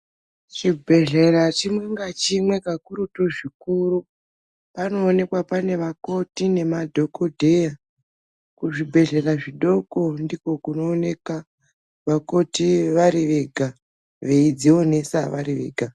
Chibhedhlera chimwe nachimwe kakurutu zvikuru panoonekwa pane vakoti nemadhokodheya kuzvibhedhlera zvidoko ndiko kunooneka vakoti vari Vega veidzionesa vari Vega.